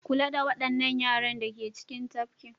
Kula da waɗannan yaran da ke cikin tafkin.